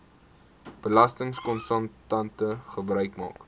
belastingkonsultante gebruik maak